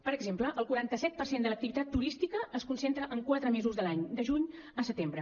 per exemple el quaranta set per cent de l’activitat turística es concentra en quatre mesos de l’any de juny a setembre